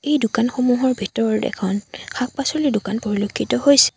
এই দোকানসমূহৰ ভিতৰত এখন শাক পাচলিৰ দোকান পৰিলক্ষিত হৈছে।